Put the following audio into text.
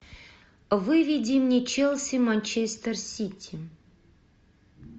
выведи мне челси манчестер сити